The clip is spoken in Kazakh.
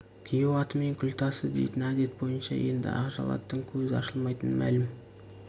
күйеу атымен күл тасы дейтін әдет бойынша енді ақжал аттың көзі ашылмайтын мәлім